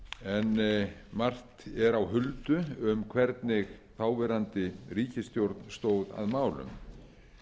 en margt er á huldu um hvernig þáverandi ríkisstjórn stóð að málum